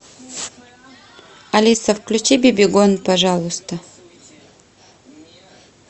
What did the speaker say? алиса включи бибигон пожалуйста